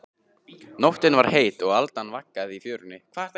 Nóttin var heit og aldan vaggaði í fjörunni.